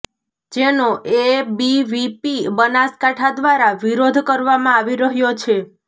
જેનો એબીવીપી બનાસકાંઠા દ્વારા વિરોધ કરવામાં આવી રહ્યો છે